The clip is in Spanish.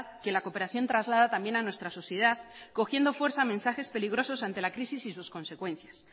que la cooperación traslada también a nuestra sociedad cogiendo fuerza mensajes peligrosos ante la crisis y sus consecuencias